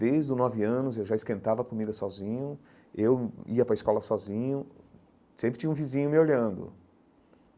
Desde os nove anos eu já esquentava a comida sozinho, eu ia para a escola sozinho, sempre tinha um vizinho me olhando.